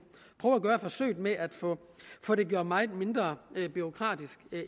prøve at gøre forsøget med at få det gjort meget mindre bureaukratisk